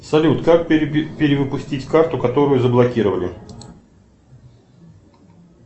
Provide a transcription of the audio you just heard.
салют как перевыпустить карту которую заблокировали